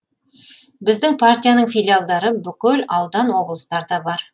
біздің партияның филиалдары бүкіл аудан облыстарда бар